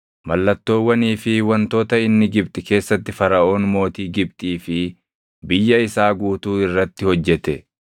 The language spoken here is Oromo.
Mallattoowwanii fi wantoota inni Gibxi keessatti Faraʼoon mootii Gibxii fi biyya isaa guutuu irratti hojjete,